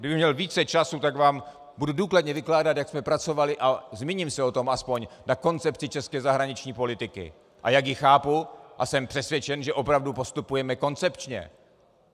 Kdybych měl více času, tak vám budu důkladně vykládat, jak jsme pracovali, a zmíním se o tom aspoň, na koncepci české zahraniční politiky, a jak ji chápu, a jsem přesvědčen, že opravdu postupujeme koncepčně.